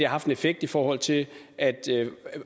haft en effekt i forhold til at